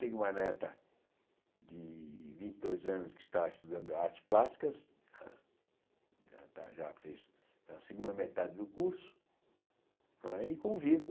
Tenho uma neta de vinte e dois anos que está estudando artes plásticas, já fez a segunda metade do curso, não é e convivo.